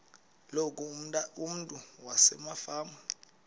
loku umntu wasefama